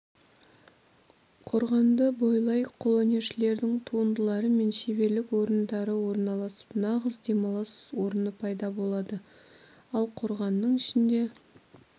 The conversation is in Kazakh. қорғанды бойлай қолөнершілердің туындылары мен шеберлік орындары орналасып нағыз демалыс орны пайда болады ал қорғанның ішінде